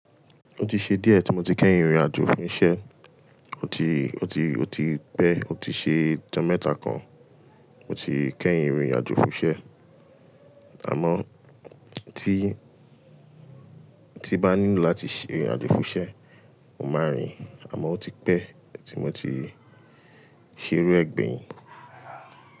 Ó ti ṣe díẹ̀ tí mo ti kẹ́yin rìnrin àjò fún iṣẹ́, ó ti, ó ti, ó ti pẹ́, ó ti ṣe ọjọ́ mẹ́ta kan mo ti kẹ́yin ìrìn àjò fún iṣẹ́. Àmọ́ tí, tí n bá nílò láti ṣe ìrìn àjò fún iṣẹ́, mo màá rìn àmọ́ ó ti pẹ́ tí mo ti ṣe iru e gbeyín.